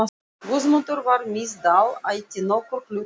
Guðmundur frá Miðdal ætti nokkurn hlut að.